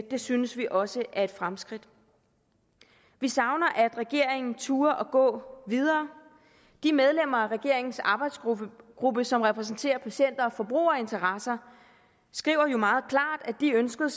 det synes vi også er et fremskridt vi savner at regeringen turde gå videre de medlemmer af regeringens arbejdsgruppe som repræsenterer patient og forbrugerinteresser skriver jo meget klart at de ønskede